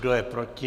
Kdo je proti?